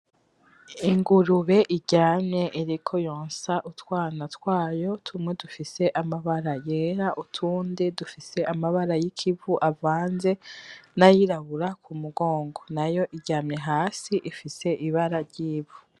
Ingurubu iryamye iriko yonsa utwana twayo tumwe dufise amabara yera utundi dufise amabara yikivu avanze nayirabura kumugongo . Nayo iryamye hasi ifise ibara ryivu.